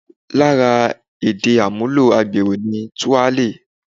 Lára èdè àmúlò agbèrò ni 'Túálè'